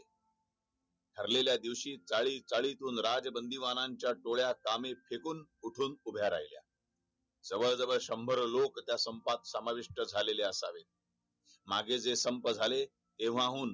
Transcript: हरलेल्या दिवशी राज बंदी वाहनांच्या डोळ्यात कामे फेकून कुठून जवळजवळ शंभर लोक त्या संपात समाविष्ट झालेले असतात माझे जे संपले जे वाहून